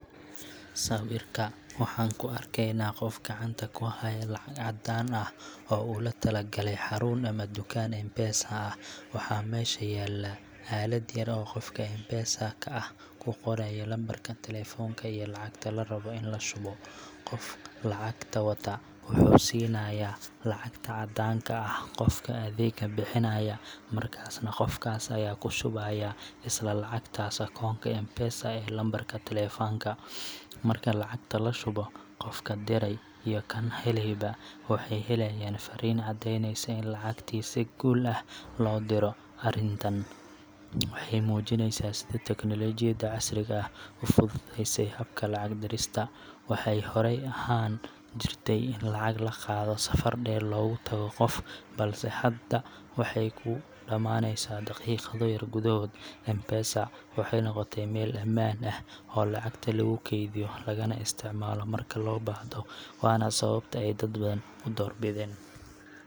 Sawirka waxaan ku arkaynaa qof gacanta ku haya lacag caddaan ah oo uu la tagayo xarun ama dukaan M-Pesa ah. Waxaa meesha yaalla aalad yar oo qofka M-Pesa ka ahi ku qorayo lambarka taleefanka iyo lacagta la rabo in la shubo. Qofka lacagta wata wuxuu siinayaa lacagta caddaanka ah qofka adeegga bixinaya, markaasna qofkaas ayaa ku shubaya isla lacagtaas akoonka M-Pesa ee lambarka taleefanka. Marka lacagta la shubo, qofka diray iyo kan helayba waxay helayaan fariin caddeyneysa in lacagtii si guul ah loo diro. Arrintan waxay muujinaysaa sida tiknoolajiyadda casriga ahi u fududeysay habka lacag dirista. Waxa horey u ahaan jirtay in lacag la qaado safar dheer loogu tago qof, balse hadda waxay ku dhammaaneysaa daqiiqado yar gudahood. M-Pesa waxay noqotay meel amaan ah oo lacagta lagu kaydiyo lagana isticmaalo marka loo baahdo, waana sababta ay dad badan u doorbideen.